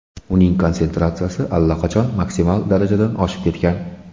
Uning konsentratsiyasi allaqachon maksimal darajadan oshib ketgan.